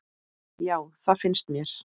Já, það finnst mér.